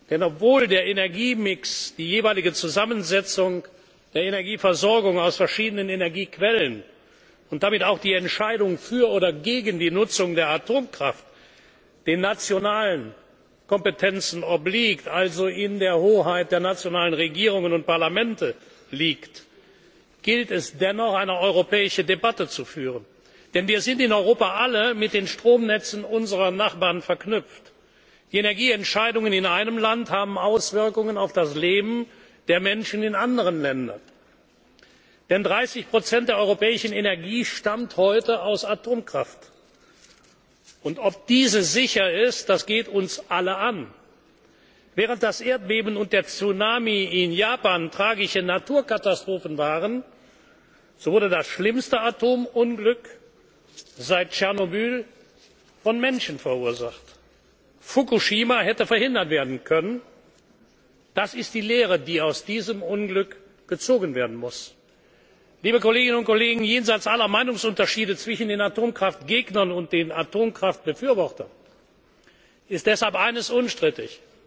Hause gibt. Denn obwohl der Energiemix die jeweilige Zusammensetzung der Energieversorgung aus verschiedenen Energiequellen und damit auch die Entscheidung für oder gegen Atomkraft Sache der Mitgliedstaaten ist, also in der Hoheit der nationalen Regierungen und Parlamente liegt, gilt es dennoch, eine europäische Debatte zu führen. Denn wir sind in Europa alle mit den Stromnetzen unserer Nachbarn verknüpft. Die Energieentscheidungen in einem Land haben Auswirkungen auf das Leben der Menschen in anderen Ländern. Denn 30 Prozent der europäischen Energie stammen heute aus Atomkraft und ob diese sicher ist, geht uns alle an. Während das Erdbeben und der Tsunami in Japan tragische Naturkatastrophen waren, so wurde das schlimmste Atomunglück seit Tschernobyl von Menschen verursacht. Fukushima hätte verhindert werden können. Das ist die Lehre, die aus diesem Unglück gezogen werden muss. Jenseits aller Meinungsunterschiede zwischen den Atomkraftgegnern und den Atomkraftbefürwortern ist deshalb